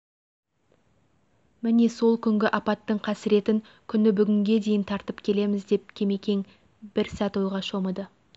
міне сол күнгі апаттың қасіретін күні бүгінге дейін тартып келеміз деп кемекең бір сәт ойға шомыды